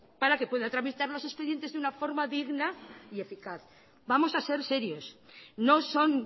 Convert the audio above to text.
para que pueda tramitar los expedientes de una forma digna y eficaz vamos a ser serios no son